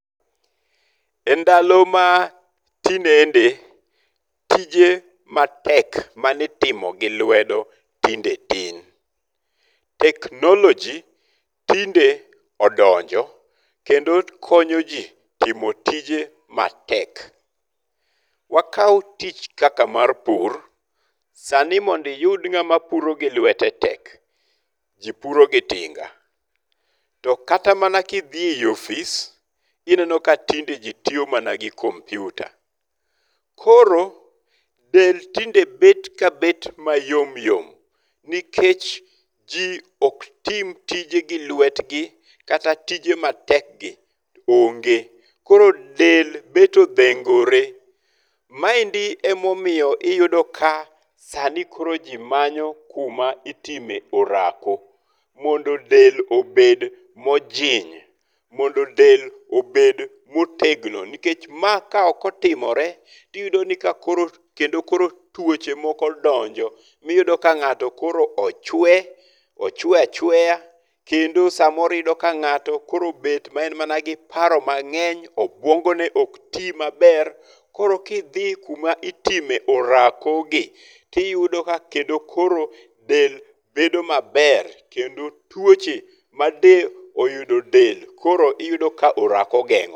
Endalo ma tinende tije matek mane itimo gi lwedo tinde tin. Technology tinde odonjo kendo konyo ji timo tije matek. Wakaw tich kaka mar pur. Sani mondo iyud ng'ama puro gi lwete tek. Jipuro gi tinga. To kata mana kidhi eyi office ineno ka tinde ji tiyo mana gi kompyuta. Koro del tinde bet kabet mayomyom. Nikech ji ok tim tije gi lwetgi kata tije matek gi onge. Koro del bet odhengore. Maendi emomiyo iyudo ka sani koro ji manyo kuma itime orako. Mondo del obed mojiny. Mondo del obed motegno. Nikech ma ok otimore tiyudo ni ka koro kendo koro tuoche moko donjo. Miyudo ka ng'ato koro ochwe. Ochwe achwea. Kendo samoro iyudo ka ng'ato koro obet ma en mana gi paro mang'eny. Obwongo ne ok ti maber. Koro kidhi kuma itime orakogi tiyudo ka kendo koro del bedo maber kendo tuoche made oyudo del koro iyudo ka orako ogeng'o.